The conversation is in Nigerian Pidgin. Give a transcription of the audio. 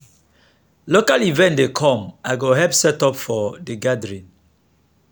local event dey come i go help set up for de gathering.